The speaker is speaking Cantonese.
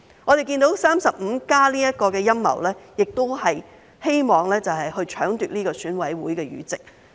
我們看到 "35+" 的陰謀也是希望搶奪選委會議席。